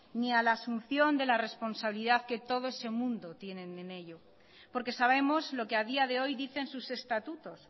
ni a la asunción de la responsabilidad que todo ese mundo tienen en ello porque sabemos lo que ha día de hoy dicen sus estatutos